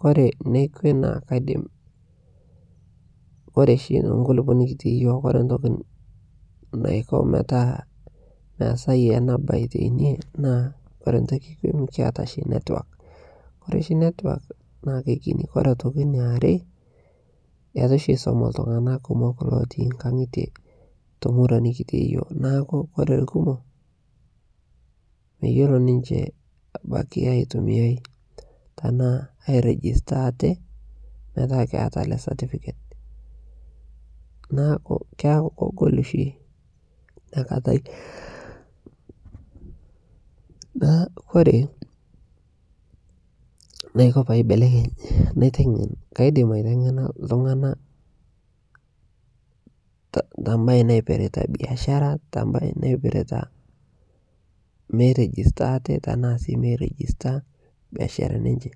kore nekwee naa kaidim kore shi tenkulipoo nikitii yooh kore ntoki naiko metaa measai ana bai teinie naa kore ntoki ekwe mikiata shi network kore shi network naa keikini kore otoki naare naa etu shi eisoma ltung'ana kumok etii nkangite temurua nikitii yooh naaku kore lkumoo meyolo ninshe abaki aitumiai tanaa airigista atee metaa keata alee certficate naaku keaku kogolu shi iniakatai naaku kore naiko paibelekeny naitengen kaidim aitengena ltungana tambai naipirita biashara tanbai naipirita mei register atee tanaa sii mei register biasharani enche.